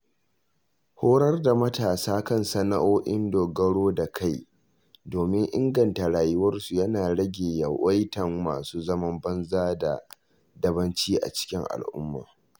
Horar da matasa kan sana’o’in dogaro da kai domin inganta rayuwarsu yana rage yawaitan masu zaman banza da dabanci a cikin al'umma.